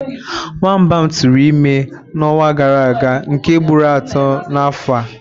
Nwamba m tụrụ ime na ọnwa gara aga nke ugboro atọ na afọ a